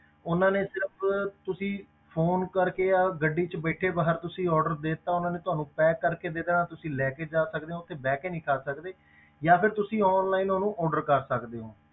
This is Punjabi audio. ਉਹਨਾਂ ਨੇ ਸਿਰਫ਼ ਤੁਸੀਂ phone ਕਰਕੇ ਜਾਂ ਗੱਡੀ ਵਿੱਚ ਬੈਠੇ ਬਾਹਰ ਤੁਸੀਂ order ਦੇ ਦਿੱਤਾ ਉਹਨਾਂ ਨੇ ਤੁਹਾਨੂੰ pack ਕਰਕੇ ਦੇ ਦਿੱਤਾ, ਤੁਸੀਂ ਲੈ ਕੇ ਜਾ ਸਕਦੇ ਹੋ ਉੱਥੇ ਬਹਿ ਕੇ ਨਹੀਂ ਖਾ ਸਕਦੇ ਜਾਂ ਫਿਰ ਤੁਸੀਂ online ਉਹਨੂੰ order ਕਰ ਸਕਦੇ ਹੋ।